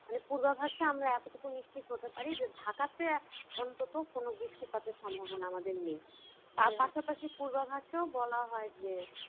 মানে পূর্বাভাস টা আমরা এতোটুক নিশ্চিত হতে পারি যে ঢাকাতে অন্তত কোন বৃষ্টিপাতের সম্ভাবনা আমাদের নেই পাশাপাশি পূর্বাভাসেও বলা হয় যে